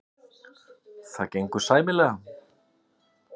Það gengur sæmilega.